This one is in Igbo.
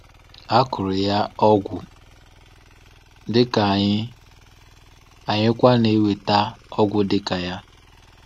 A kụrụ ya ọgwụ dịka anyị, anyịkwa na-enweta ọgwụ dịka ya.